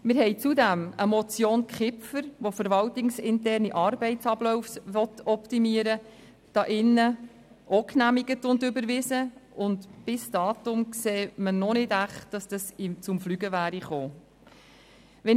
Zudem haben wir eine Motion Kipfer , die verwaltungsinterne Arbeitsabläufe optimieren will, ebenfalls hier im Saal genehmigt und überwiesen, und bis dato, sieht man noch nicht wirklich, dass dies zum Tragen gekommen wäre.